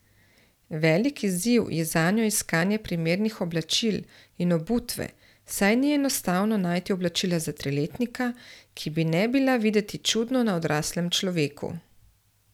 Velik izziv ji zanjo iskanje primernih oblačil in obutve, saj ni enostavno najti oblačila za triletnika, ki bi ne bi bila videti čudno na odraslem človeku.